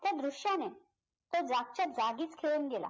त्या दृश्याने तो जागच्या जागीच खेळून गेला